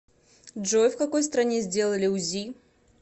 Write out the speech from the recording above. джой в какой стране сделали узи